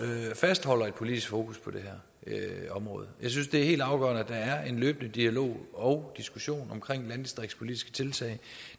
fastholder et politisk fokus på det her område jeg synes det er helt afgørende at der er en løbende dialog og diskussion om landdistriktspolitiske tiltag